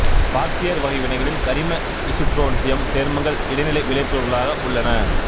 பார்பியர்வகை வினைகளில் கரிம இசுட்ரோன்சியம் சேர்மங்கள் இடைநிலை விளைபொருட்களாக உள்ளன